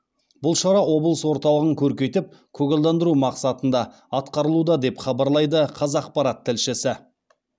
бұл шара облыс орталығын көркейтіп көгалдандыру мақсатында атқарылуда деп хабарлайды қазақпарат тілішісі